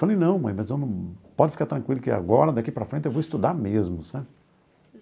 Falei, não mãe, mas pode ficar tranquila que agora, daqui para frente, eu vou estudar mesmo, sabe?